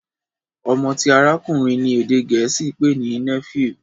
ọmọ ti arakunrin ní èdè gèésì pé ní " Nephew"